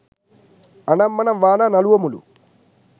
අනම් වනම් වානා නළුවොමලු